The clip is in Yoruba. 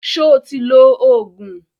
Sọ ti lo Ògùn?